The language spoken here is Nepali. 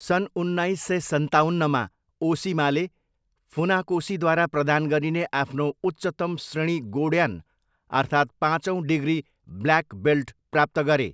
सन् उन्नाइस सय सन्ताउन्नमा, ओसिमाले, फुनाकोसीद्वारा प्रदान गरिने आफ्नो उच्चतम श्रेणी गोड्यान अर्थात् पाँचौँ डिग्री ब्ल्याक बेल्ट प्राप्त गरे।